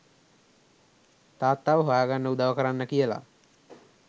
තාත්තව හොයාගන්න උදව් කරන්න කියලා.